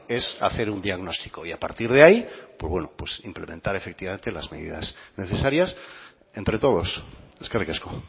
es hacer un diagnóstico y a partir de ahí pues bueno pues implementar efectivamente las medidas necesarias entre todos eskerrik asko